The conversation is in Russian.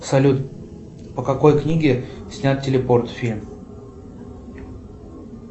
салют по какой книге снят телепорт фильм